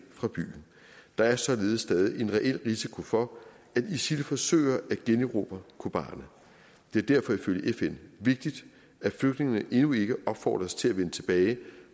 fra byen der er således stadig en reel risiko for at isil forsøger at generobre kobane det er derfor ifølge fn vigtigt at flygtningene ikke opfordres til at vende tilbage